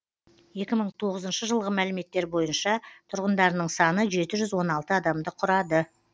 екі мың тоғызыншы жылғы мәліметтер бойынша тұрғындардың саны жеті жүз он алты адамды құрады